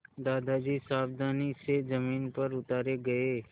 दादाजी सावधानी से ज़मीन पर उतारे गए